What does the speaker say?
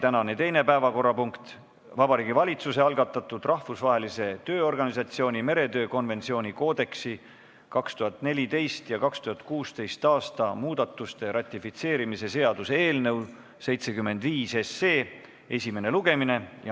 Tänane teine päevakorrapunkt on Vabariigi Valitsuse algatatud Rahvusvahelise Tööorganisatsiooni meretöö konventsiooni koodeksi 2014. ja 2016. aasta muudatuste ratifitseerimise seaduse eelnõu 75 esimene lugemine.